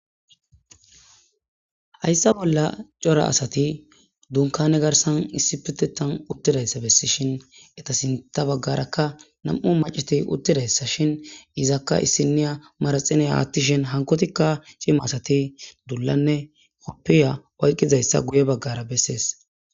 Hayssa bolla cora asati dunkane garsan issi pitetan uttidayssa bessi shin eta sinta baggarakka nam7u maceti uttidayssa shin izakka issiniya maraxine haattishin hankotikka cima asati dullanne koppiya oyqqizayssa guye baggara bessees